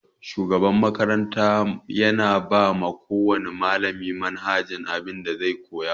Shugaban makarata yana bawa kowana malami manhajar abin da zai koyar.